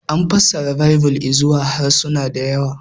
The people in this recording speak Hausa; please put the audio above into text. An fassara Baibil izuwa harsuna da yawa.